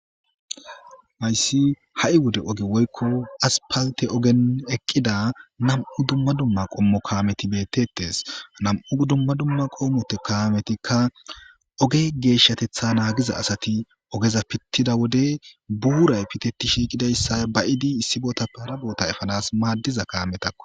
Hayssi ha'i wode oge woykko asppaltte ogen eqida nam'u dumma dumma qommo kameti betetes . Nam'u dumma dumma qommo kametikka oge geshatetha nagiza asati ogeza pitida wode buray piteti shiqidayssa ba'ifi issi botappe hara bota efanas madiza kametakko.